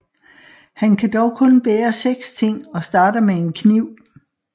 Han kan dog kun bære seks ting og starter med en kniv